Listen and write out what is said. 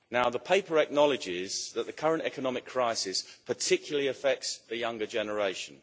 The Paper acknowledges that the current economic crisis particularly affects the younger generation.